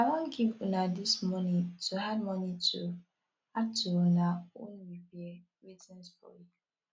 i wan give una dis money to add money to add to una own repair wetin spoil